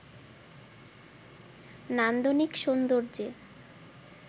নান্দনিক সৌন্দর্যে